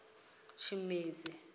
tshimedzi